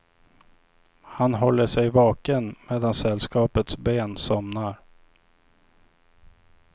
Han håller sig vaken medan sällskapets ben somnar.